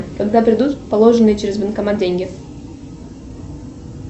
когда придут положенные через банкомат деньги